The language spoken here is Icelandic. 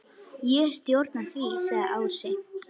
Ég stjórna því, sagði Ási.